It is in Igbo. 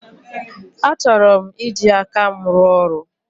Achọrọ m iji aka m rụọ ọrụ.